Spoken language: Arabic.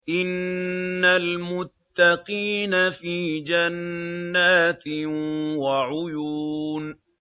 إِنَّ الْمُتَّقِينَ فِي جَنَّاتٍ وَعُيُونٍ